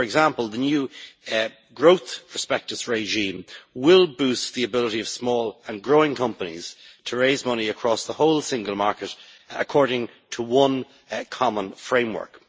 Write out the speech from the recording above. For example, the new growth prospectus regime will boost the ability of small and growing companies to raise money across the whole single market, according to one common framework.